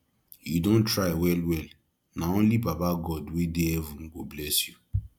you don try wellwell na only baba god wey dey heaven go bless you